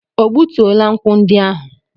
O gbutuola nkwụ ndị ahụ?